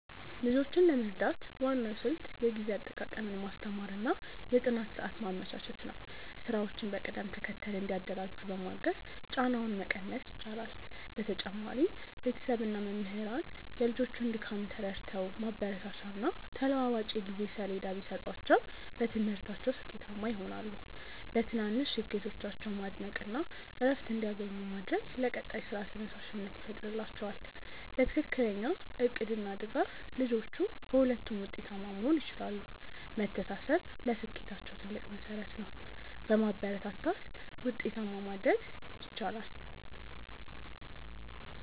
ልጆችን ለመርዳት ዋናው ስልት የጊዜ አጠቃቀምን ማስተማር እና የጥናት ሰዓት ማመቻቸት ነው። ስራዎችን በቅደም ተከተል እንዲያደራጁ በማገዝ ጫናውን መቀነስ ይቻላል። በተጨማሪም ቤተሰብ እና መምህራን የልጆቹን ድካም ተረድተው ማበረታቻና ተለዋዋጭ የጊዜ ሰሌዳ ቢሰጧቸው በትምህርታቸው ስኬታማ ይሆናሉ። በትናንሽ ስኬቶቻቸው ማድነቅ እና እረፍት እንዲያገኙ ማድረግ ለቀጣይ ስራ ተነሳሽነት ይፈጥርላቸዋል። በትክክለኛ እቅድ እና ድጋፍ ልጆቹ በሁለቱም ውጤታማ መሆን ይችላሉ። መተሳሰብ ለስኬታቸው ትልቅ መሠረት ነው። በማበረታታት ውጤታማ ማድረግ ይቻላል።